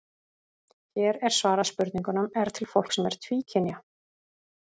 Hér er svarað spurningunum: Er til fólk sem er tvíkynja?